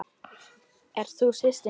Ert þú systir mín?